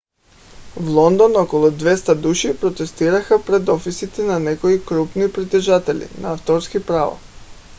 в лондон около 200 души протестираха пред офисите на някои крупни притежатели на авторски права